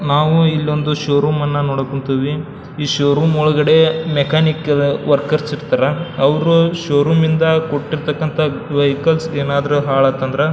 ನಾವು ಇಲ್ಲಿ ಒಂದು ಶೋರೂಮ್ ಅನ್ನು ನೋಡಕ್ ಹೊಂಟೇವಿ ಈ ಶೋರೂಮ್ ಒಳಗಡೆ ಮೆಕ್ಯಾನಿಕ್ ವರ್ಕರ್ಸ್ ಇರ್ತಾರ ಅವ್ರು ಶೋರೂಮ್ ಇಂದ ಕೊಟ್ಟಿರ್ತಕ್ಕಂಥ ವೆಹಿಕಲ್ಸ್ ಏನಾದ್ರು ಹಾಳಾತ್ ಅಂದ್ರ --